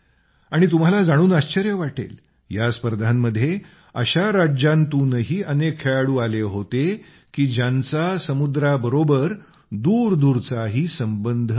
आणि तुम्हाला जाणून आश्चर्य वाटेल या स्पर्धांमध्ये अशा राज्यांतूनही अनेक खेळाडू आले होते की ज्यांचा समुद्राबरोबर दूरदूरचाही संबंध नाही